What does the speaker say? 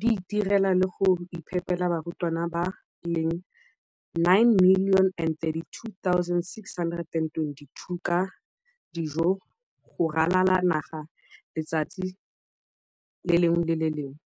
di itirela le go iphepela barutwana ba le 9 032 622 ka dijo go ralala naga letsatsi le lengwe le le lengwe.